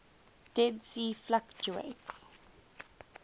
dead sea fluctuates